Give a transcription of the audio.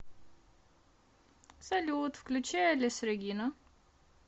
салют включи элис регина